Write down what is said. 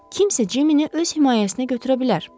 Kimsə Cimini öz himayəsinə götürə bilər?